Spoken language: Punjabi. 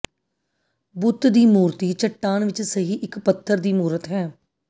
ਬੁੱਤ ਦੀ ਮੂਰਤੀ ਚੱਟਾਨ ਵਿਚ ਸਹੀ ਇਕ ਪੱਥਰ ਦੀ ਮੂਰਤ ਹੈ